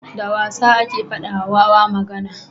da wasa ake fada wa wawa magana